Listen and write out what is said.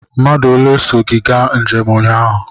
Mmadụ ole so gị gaa njem ụnyaahụ?